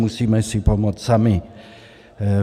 Musíme si pomoct sami.